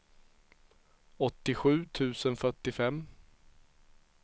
åttiosju tusen fyrtiofem